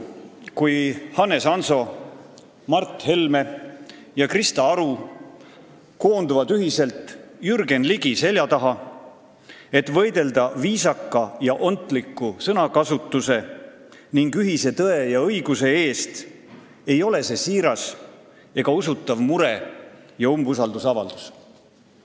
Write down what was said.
Kui Hannes Hanso, Mart Helme ja Krista Aru koonduvad ühiselt Jürgen Ligi selja taha, et võidelda viisaka ja ontliku sõnakasutuse ning ühise tõe ja õiguse eest, siis ei ole see siiras ja usutav mure ja umbusaldusavaldus.